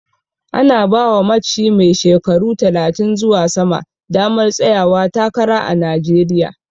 Ana bawa matshi mai shekaru talatin zuwa sama damar tsayawa takara a Najeriya